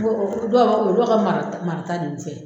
N ko o dɔw ka o dɔw ka marata marata de tɛ